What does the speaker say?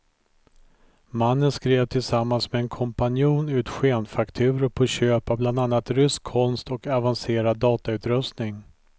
Mannen skrev tillsammans med en kompanjon ut skenfakturor på köp av bland annat rysk konst och avancerad datautrustning.